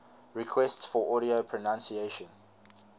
requests for audio pronunciation